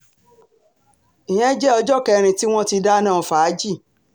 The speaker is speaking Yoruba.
ìyẹn jẹ́ ọjọ́ kẹrin tí wọ́n ti dáná fàájì